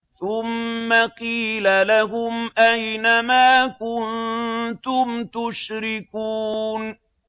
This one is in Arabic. ثُمَّ قِيلَ لَهُمْ أَيْنَ مَا كُنتُمْ تُشْرِكُونَ